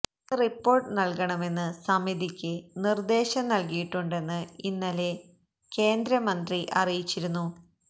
ഇന്ന് റിപ്പോർട്ട് നൽകണമെന്ന് സമിതിക്ക് നിർദേശം നൽകിയിട്ടുണ്ടെന്ന് ഇന്നലെ കേന്ദ്രമന്ത്രി അറിയിച്ചിരുന്നു